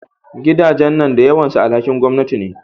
Gidajen nan da yawan su alhakin gwamanati ne